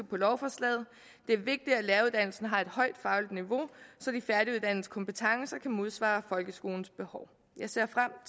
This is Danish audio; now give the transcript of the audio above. på lovforslaget det er vigtigt at læreruddannelsen har et højt fagligt niveau så de færdiguddannedes kompetencer kan modsvare folkeskolens behov jeg ser frem